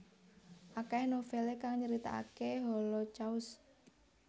Akeh novele kang nyritakake Holocaust